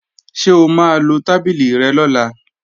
Ṣé o máa lo tábìlì rẹ lọ́la?